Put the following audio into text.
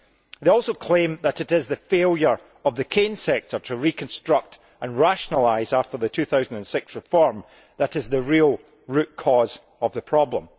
They also claim that it is the failure of the cane sector to reconstruct and rationalise after the 2006 reform that is the real root cause of the problem.